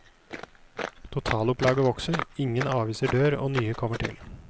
Totalopplaget vokser, ingen aviser dør og nye kommer til.